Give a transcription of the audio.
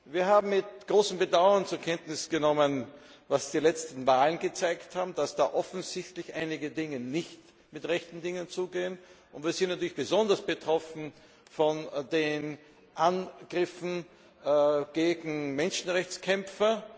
Wir haben mit großem Bedauern zur Kenntnis genommen, was die letzten Wahlen gezeigt haben, dass da offensichtlich einige Dinge nicht mit rechten Dingen zugehen. Wir sind natürlich besonders betroffen über die Angriffe gegen Menschenrechtskämpfer.